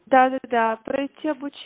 да да да пройти обуч